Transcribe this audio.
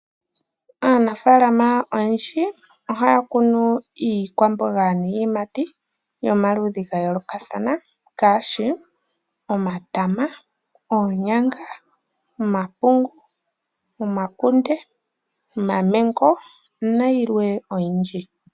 Aanafaalama oyendji ohaya kunu iikwamboga niiyimati yomaludhi ga yoolokathana ngaashi omatama, oonyanga, omapungu, omakunde, omaMango nayilwe oyindji.